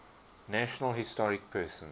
national historic persons